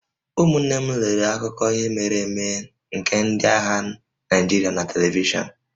Ụmụnne m lere akụkọ ihe mere eme nke ndị agha Naịjirịa na televishọn